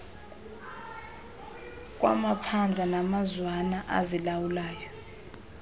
kwamaphandle namazwana azilawulayo